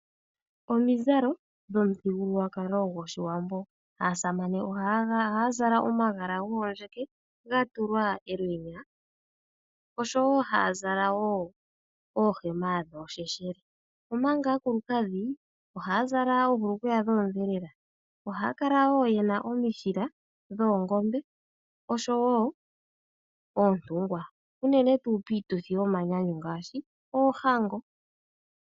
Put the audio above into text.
Omizalo dhomithugululwakalo gwOshiwambo. Aasamane ohaya zala omagala gomandjeke ga tulwa elwenya osho wo haya zala wo oohema dhoosheshele. Omanga aakulukadhi ohaya zala oohulukweya dhoondhelela, ohaya kala wo ye na omishila dhoongombe osho wo oontungwa, unene tuu piituthi yomanyanyu ngaashi: oohango